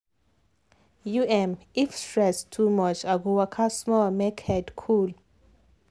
um if stress too much i go waka small make head cool.